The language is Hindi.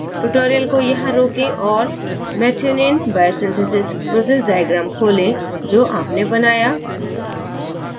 tutorial को यहाँ रोकें और methionine biosynthesis process diagram खोलें जो अपने बनाया